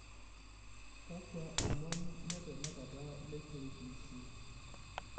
kakwa omon letanakata le k.b.c